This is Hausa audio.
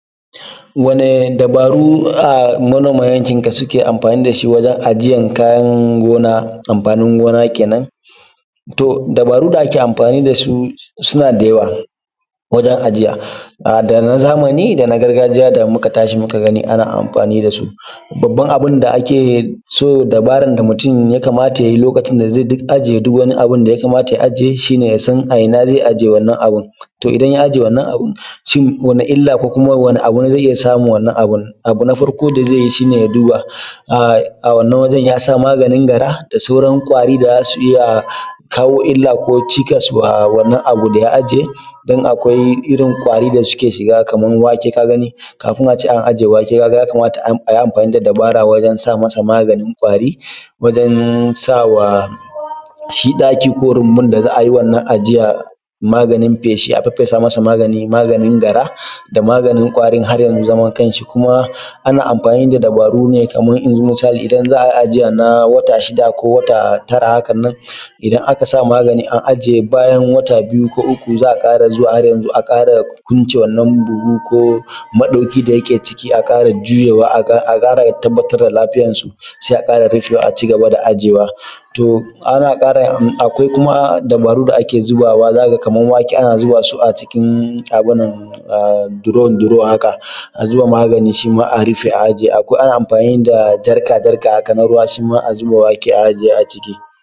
wani dabaru a manoman yakin ka suke amfani da shi wajen ajiyen kayan gona, amfanin gona kenan to dabarun da ake amfani da da su suna da yawa wajen ajiya a da na zamani da na gargajiya da muka tashi muka ga ana amfani da su, babban abun da ake so dabaran da mutum ya kamata ya yi lokacin da zai ajiye duk wani abun da ya kamata ya ajiye shi ne ya san a ina zai ajiye wannan abun, to idan ya ajiye wannan abun, shin wani illa ko kuma wani abu ne zai iya samun wannan abun, abu na farko da zai yi shi ne ya duba a wannan gurin ya sa maganin gara da sauran ƙwari da za su iya kawo illa ko cikas wa wannan abu da ya ajiye don akwai irin ƙwari da suke shiga kamar wake, ka gani kafin a ce an ajiye wake ka gani ya kamata a ce an yi amfani da dabara wajen sa masa magani ƙwari wajen sawa shi ɗaki ko rumbun da za`a yi wannan ajiya maganin feshi, a fefesa masa magani, maganin gara da maganin ƙwarin har ya zama kan shi kuma ana anfani ne da dabaru ne kamar misali, idan za`a ajiye kaman na wata shida ko wata tara haka nan idan aka sa magani an ajiye bayan wata biyu ko uku za a ƙara zuwa har yanzu a ƙara kunle wannan buhu ko maɗauki da yake ciki a gujewa ya ƙara tabbatar da lafiyar su sai a ƙara rufewa a cigaba da ajiyewa, to ana ƙara akwai kuma dabarun da ake zabawa zaka ga kamar wake ana zuba su a cikin abun nan a “drum drum” haka a zuba magani shi ma a rufe a ajiye akwai shi ma ana amfani da jarka jarka kaman ruwa shi ma a zuba wake a ciki a ajiye